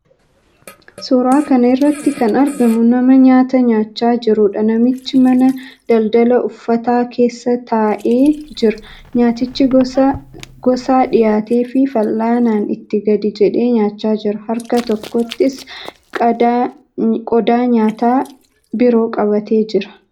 Suuraa kana irratti kan argamu nama nyaata nyaachaa jiruudha. Namichi mana daldala uffataa keessa taa'ee jira. Nyaatni gosa gosaa dhihaateefii fal'aanaan itti gadi jedhee nyaataa jira. Harka tokkottis qodaa nyaataa biroo qabatee jira.